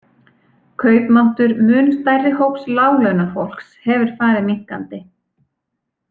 Kaupmáttur mun stærri hóps láglaunafólks hefur farið minnkandi.